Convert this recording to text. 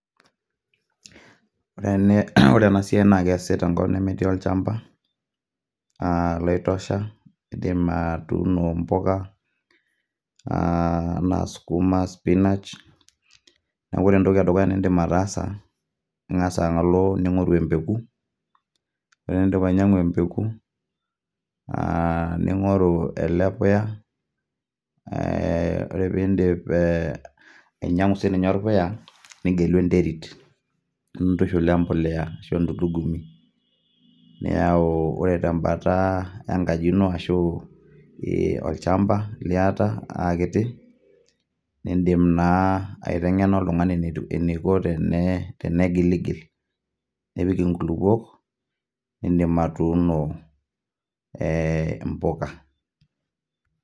Ore ena naa esiai baasi tenkop nemetii olchamba loitosha. Indim atuuno imbuka anaa sukuma, spinach. Naa ore entoki e dukuya niindim ataasa , ing'as alo ningoru empeko, ore pee indip ainyang'u embeko ,ningoru ele puya, ore pee indip ainyang'u siininye olpuya, nigelu enterit nintushul we embolea ashu entulugumi. Niyau ore tembata enkaji ino ashu tolchamba liata aa kiti. Indim naa aitengena oltung'ani eneiko tenegiligil nepik inkulukuok, indim atuuno impuka.